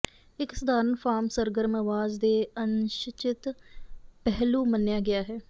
ਇੱਕ ਸਧਾਰਨ ਫਾਰਮ ਸਰਗਰਮ ਅਵਾਜ਼ ਦੇ ਅਨਿਸ਼ਚਿਤ ਪਹਿਲੂ ਮੰਨਿਆ ਗਿਆ ਹੈ